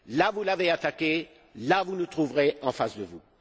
Vous l'avez attaqué et vous nous trouverez en face de vous.